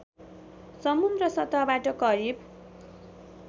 समुन्द्र सतहबाट करिव